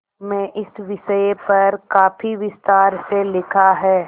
में इस विषय पर काफी विस्तार से लिखा है